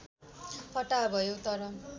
फटाहा भयौ तर